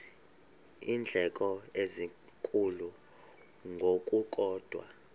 iindleko ezinkulu ngokukodwa